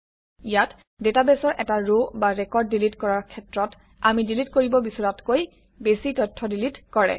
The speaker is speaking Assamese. ইয়াত ডাটাবেছৰ এটা ৰ বা ৰেকৰ্ড ডিলিট কৰাৰ ক্ষেত্ৰত আমি ডিলিট কৰিব বিচৰাতকৈ বেছি তথ্য ডিলিট কৰে